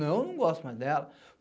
Não, eu não gosto mais dela.